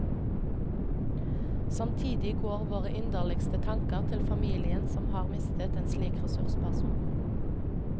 Samtidig går våre inderligste tanker til familien som har mistet en slik ressursperson.